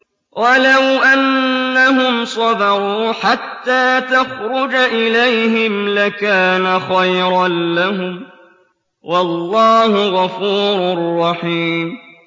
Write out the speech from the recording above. وَلَوْ أَنَّهُمْ صَبَرُوا حَتَّىٰ تَخْرُجَ إِلَيْهِمْ لَكَانَ خَيْرًا لَّهُمْ ۚ وَاللَّهُ غَفُورٌ رَّحِيمٌ